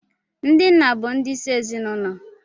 Ndị nna bụ ndi isi ezinụlọ